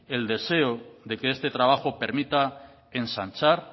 el deseo de que este trabajo permita ensanchar